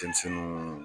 Denmisɛnninw